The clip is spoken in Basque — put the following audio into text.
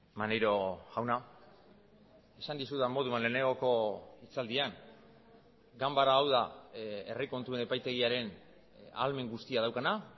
maneiro jauna esan dizudan moduan lehenengoko hitzaldian ganbara hau da herri kontuen epaitegiaren ahalmen guztia daukana